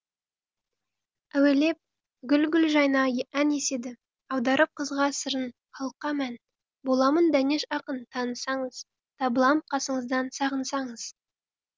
әуелеп гүл гүл жайна ән еседі аударып қызға сырын халыққа мән боламын дәнеш ақын танысаңыз табылам қасыңыздан сағынсаңыз